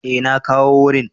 E na kawo wurin.